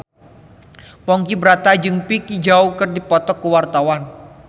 Ponky Brata jeung Vicki Zao keur dipoto ku wartawan